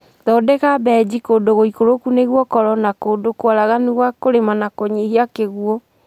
Thondeka benji kũndũ gũikũrũku nĩguo ũkorwo na kũndũ kwaraganu gwa kũrima na kũnyihia kĩguũ